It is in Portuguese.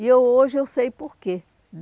E eu hoje eu sei por quê.